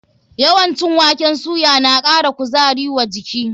Yawan cin waken soya na ƙara kuzari wa jiki.